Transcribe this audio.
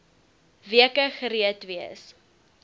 weke gereed wees